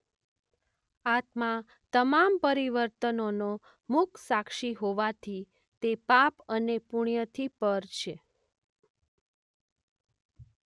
આત્મા તમામ પરીવર્તનોનો મૂક સાક્ષી હોવાથી તે પાપ અને પુણ્યથી પર છે.